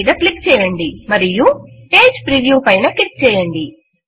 file మీద click చేయండి మరియు పేజ్ ప్రివ్యూ పైన క్లిక్ చేయండి